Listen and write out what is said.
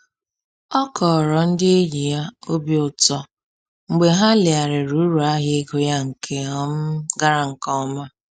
Ọ kọrọ ndị enyi ya obi ụtọ mgbe ha legharịrị uru ahịa ego ya nke um gara nke ọma